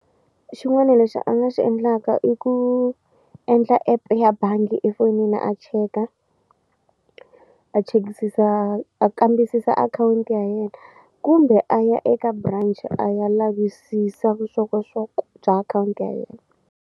Xin'wana lexi a nga xi endlaka i ku endla app ya bangi efonini a cheka a chekisisa a kambisisa akhawunti ya yena kumbe a ya eka branch a ya lavisisa vuxokoxoko bya akhawunti ya yena.